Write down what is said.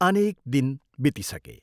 अनेक दिन बितिसके।